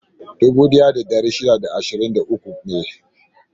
A'a, dubu ɗaya da ɗari shida da ashirin da uku ne.